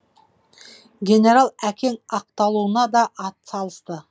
генерал әкең ақталуыма да атсалысты